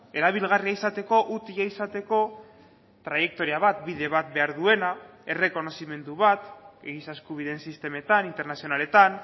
erabilgarria izateko utila izateko traiektoria bat bide bat behar duena errekonozimendu bat giza eskubideen sistemetan internazionaletan